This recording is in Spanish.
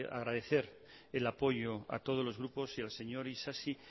agradecer el apoyo a todos los grupos y al señor isasi